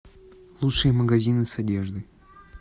лучшие магазины с одеждой